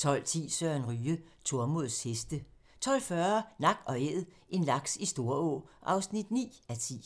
12:10: Søren Ryge: Tormods heste 12:40: Nak & æd - en laks i Storå (9:10)